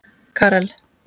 Karel